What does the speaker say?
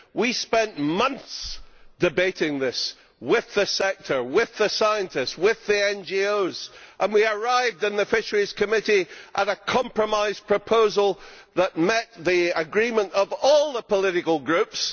We spent months debating this with the sector, with the scientists, with the NGOs, and we in the Committee on Fisheries arrived at a compromise proposal that met the agreement of all the political groups